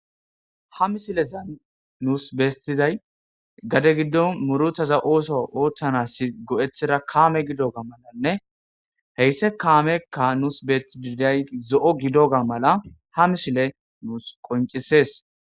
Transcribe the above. Ha misilezan nusi betizay gadde giddon muruththatha osuwa oththanas go'ethidda kame giddogga malanne heysi kamekka nusi betidi de'yogge zo'o giddoga malla ha misile nusi qonc'ises.